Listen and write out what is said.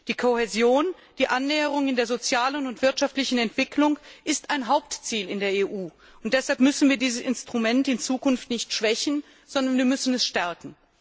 Die Kohäsion, also die Annäherung in der sozialen und wirtschaftlichen Entwicklung, ist ein Hauptziel in der EU, und deshalb müssen wir dieses Instrument in Zukunft nicht schwächen, sondern wir müssen es stärken.